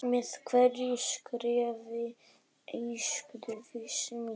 Með hverju skrefi eykst vissa mín.